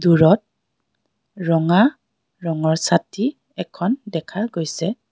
দূৰত ৰঙা ৰঙৰ চাতি এখন দেখা গৈছে.